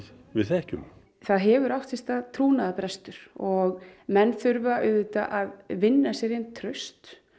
við þekkjum það hefur átt sér stað trúnaðarbrestur og menn þurfa auðvitað að vinna sér inn traust